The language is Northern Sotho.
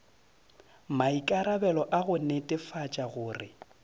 maikarabelo a go netefatša gore